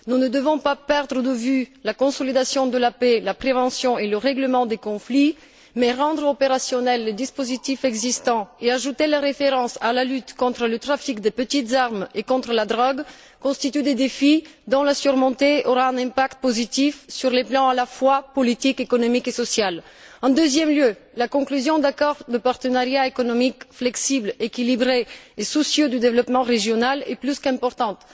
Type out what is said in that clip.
Nous ne devons pas perdre de vue la consolidation de la paix, la prévention et le règlement des conflits, mais rendre opérationnels les dispositifs existants et ajouter les références à la lutte contre le trafic des petites armes et contre la drogue constituent des défis qui, une fois surmontés, auront un impact positif sur les plans à la fois politique, économique et social. En deuxième lieu, la conclusion d'accords de partenariat économique flexibles, équilibrés et soucieux du développement régional est plus qu'importante.